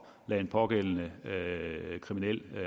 lade en pågældende kriminel